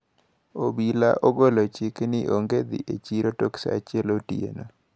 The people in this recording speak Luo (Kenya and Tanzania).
Obila ogolo chik ni onge dhi e chiro tok saa achiel otieno.